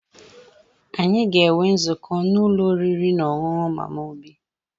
Anyị ga-enwe nzukọ n'ụlọ oriri na ọṅụṅụ Mama Obi